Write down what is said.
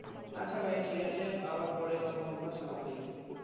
আচ্ছা ভাইয়া ঠিক আছে আবার পরে কথা বলবো আসলামালয়াকুম,